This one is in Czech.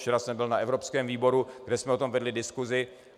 Včera jsem byl na evropském výboru, kde jsme o tom vedli diskusi.